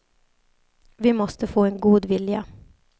Vi måste få en god vilja.